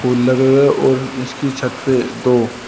फूल लगे हुए हैं और इसकी छत पे दो--